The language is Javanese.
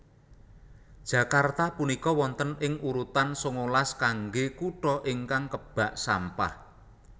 Jakarta punika wonten ing urutan sangalas kangge kuto ingkang kebak sampah